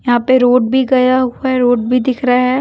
यहां पे रोड भी गया हुआ है रोड भी दिख रहा है।